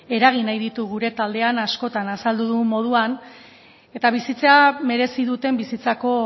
eragin nahi ditu gure taldean askotan azaldu dugun moduan eta bizitzea merezi duten bizitzako